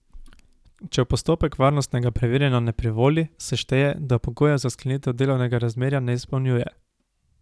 Če v postopek varnostnega preverjanja ne privoli, se šteje, da pogojev za sklenitev delovnega razmerja ne izpolnjuje.